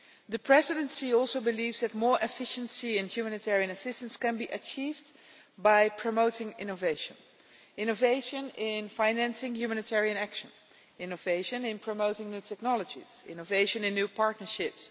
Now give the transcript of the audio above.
The Presidency also believes that more efficiency in humanitarian assistance can be achieved by promoting innovation innovation in financing humanitarian action, innovation in promoting the technologies and innovation in new partnerships.